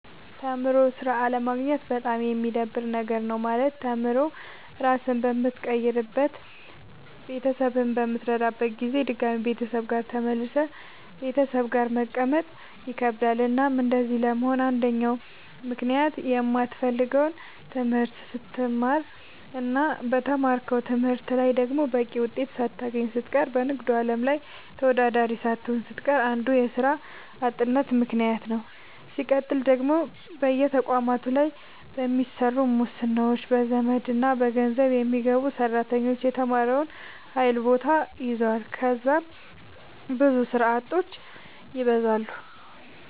ተምሮ ስራ አለማግኘት በጣም የሚደብር ነገር ነው። ማለት ተምሮ ራስህን በምትቀይርበት ቤተሰብህን በምትረዳበት ጊዜ ድጋሚ ቤተሰብ ጋር ተመልሰህ ቤተሰብ ጋር መቀመጥ ይከብዳል። እናም እንደዚህ ለመሆን አንደኛው ምክንያት የማትፈልገውን ትምህርት ስትማር እና በተማርከው ትምህርት ላይ ደግሞ በቂ ውጤት ሳታገኝ ስትቀር በንግዱ አለም ላይ ተወዳዳሪ ሳትሆን ስትቀር አንዱ የስራ አጥነት ምከንያት ነዉ። ስቀጥል ደግሞ በየተቋማቱ ላይ በሚሰሩ ሙስናዎች፣ በዘመድና በገንዘብ የሚገቡ ሰራተኞች የተማረውን ኃይል ቦታ ይዘዋል ከዛም ብዙ ስራ አጦች ይበዛሉ።